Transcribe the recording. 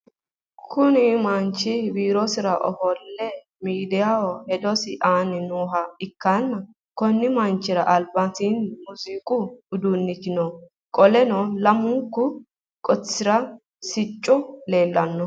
Kunni manchi biirosira ofole miidiyaho hedosi aanni nooha ikanna konni manchira albaanni muuziiqu uduunichi no. Qoleno lamunku qotisira siccu leelanni no?